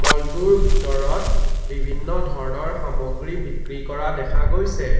মল টোৰ ভিতৰত বিভিন্ন ধৰ্ণৰ সমগ্ৰী বিক্ৰী কৰা দেখা গৈছে।